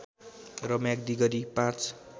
र म्याग्दी गरी ५